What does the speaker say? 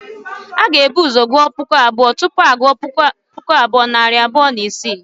A ga-ebu ụzọ gụọ puku abụọ, tupu a gụọ puku abụọ, nari abụọ na isii